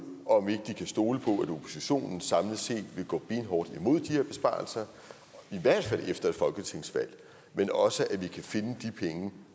om ikke de kan stole på at oppositionen samlet set vil gå benhårdt imod de her besparelser i hvert fald efter et folketingsvalg men også at vi kan finde de penge